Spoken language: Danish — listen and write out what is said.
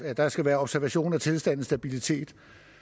at der skal være observation af tilstandens stabilitet